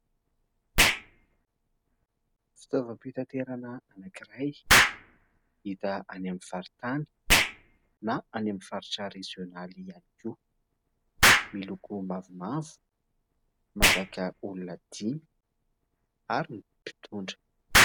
Fitaovam-pitaterana anankiray hita any amin'ny faritany na any amin'ny faritra rezionaly ihany koa ; miloko mavomavo mazaka olona dimy ary ny mpitondra.